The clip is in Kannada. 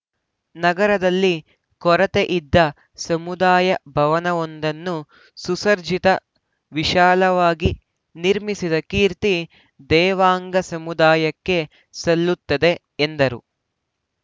ನಗರದಲ್ಲಿ ಕೊರತೆಯಿದ್ದ ಸಮುದಾಯ ಭವನವೊಂದನ್ನು ಸುಸಜ್ಜಿತ ವಿಶಾಲವಾಗಿ ನಿರ್ಮಿಸಿದ ಕೀರ್ತಿ ದೇವಾಂಗ ಸಮುದಾಯಕ್ಕೆ ಸಲ್ಲುತ್ತದೆ ಎಂದರು